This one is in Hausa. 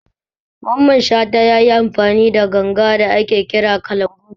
Mamman Shata yayi amfani da gangar da ake kira kalangu